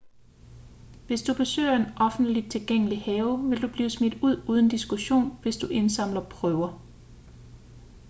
hvis du besøger en offentlig tilgængelig have vil du blive smidt ud uden diskussion hvis du indsamler prøver